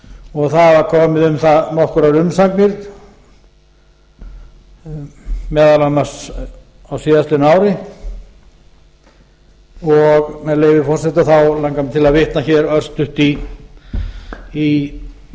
og það hafa komið um það nokkrar umsagnir meðal annars á síðastliðnu ári og með leyfi forseta langar mig til að vitna hér örstutt í